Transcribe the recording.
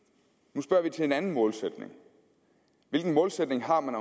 nu spørger vi til en anden målsætning hvilken målsætning har man